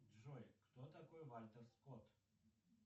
джой кто такой вальтер скотт